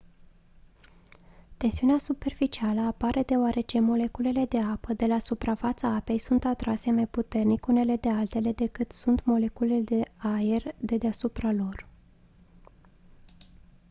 tensiunea superficială apare deoarece moleculele de apă de la suprafața apei sunt atrase mai puternic unele de altele decât sunt de moleculele de aer de deasupra lor